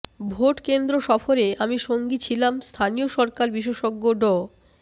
ভোটকেন্দ্র সফরে আমি সঙ্গী ছিলাম স্থানীয় সরকার বিশেষজ্ঞ ড